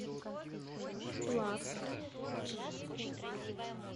плавск